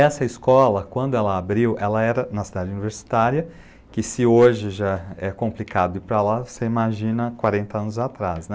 Essa escola, quando ela abriu, ela era na cidade universitária, que se hoje já é complicado ir para lá, você imagina quarenta anos atrás, né?